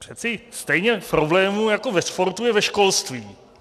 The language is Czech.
Přece stejně problémů jako ve sportu je ve školství.